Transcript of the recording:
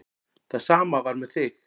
Það sama var með þig.